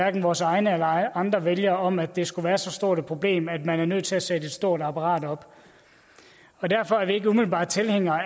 af vores egne eller andres vælgere om at det skulle være så stort et problem at man er nødt til at sætte et stort apparat op derfor er vi ikke umiddelbart tilhængere